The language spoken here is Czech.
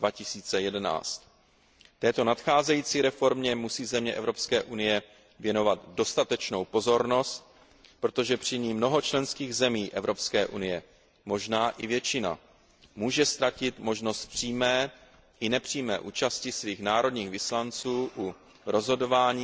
2011. Této nadcházející reformě musí země EU věnovat dostatečnou pozornost, protože při ní mnoho členských zemí EU, možná i většina, může ztratit možnost přímé i nepřímé účasti svých národních vyslanců u rozhodování